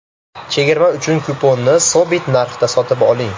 Chegirma uchun kuponni sobit narxda sotib oling.